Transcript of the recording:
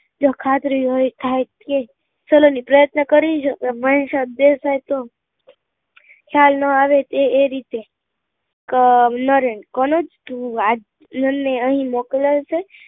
જો ખાતરી હોય તો થાય તો કે સલોની પ્રયત્ન કરીશ મનીષા દેસાઈ નો ખ્યાલ નાં આવે એ રીતે કક નરેન કનોજ તું આજ મન ને અહી મોકલાવજે